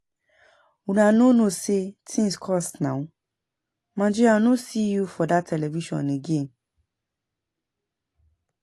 Una no know say things cost now. Maje I no see you for dat television again